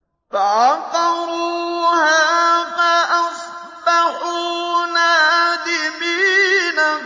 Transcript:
فَعَقَرُوهَا فَأَصْبَحُوا نَادِمِينَ